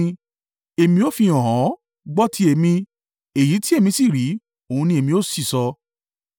“Èmi ó fihàn ọ́, gbọ́ ti èmi; èyí tí èmi sì rí, òun ni èmi ó sì sọ,